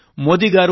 ఆయన ఏమన్నారంటే